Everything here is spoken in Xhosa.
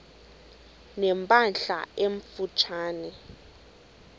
ne mpahla emfutshane